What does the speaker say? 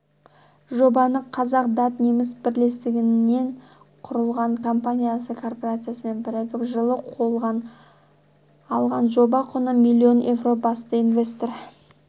жобаны қазақ-дат-неміс бірлестігінен құрылған компаниясы корпорациясымен бірігіп жылы қолған алған жоба құны миллион евро басты инвестор